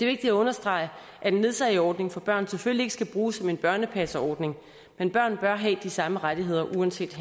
vigtigt at understrege at en ledsageordning for børn selvfølgelig ikke skal bruges som en børnepasningsordning men børn bør have de samme rettigheder uanset